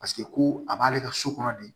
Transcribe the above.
Paseke ko a b'ale ka so kɔnɔ de